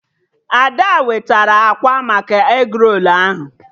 Ada wetara akwa maka egrolu ahụ